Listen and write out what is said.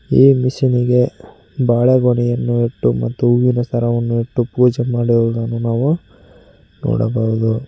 ಈ ಮಿಷಿನ್ ಇಗೆ ಬಾಳೆಗೊನೆಯನ್ನು ಇಟ್ಟು ಮತ್ತು ಹೂವಿನ ಸರವನ್ನು ಇಟ್ಟು ಪೂಜೆ ಮಾಡುವುದನ್ನು ನಾವು ನೋಡಬಹುದು.